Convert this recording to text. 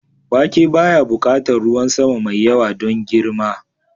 Wake baya buƙatar ruwan sama mai yawa don girma.